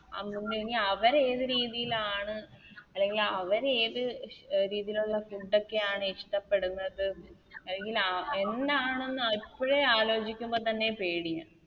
അമ്മുമ്മ ഇനി അവര് ഏത് രീതിലാണ് അല്ലെങ്കിലവര് ഏത് രീതിയിലുള്ള Food ഒക്കെയാണ് ഇഷ്ടപ്പെടുന്നത് അല്ലെങ്കി ന്ന എന്താണ് ന്ന് ഇപ്പഴേ ആലോച്ചുക്കുമ്പോ തന്നെ പേടിയാ